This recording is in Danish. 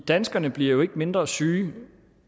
danskerne bliver jo ikke mindre syge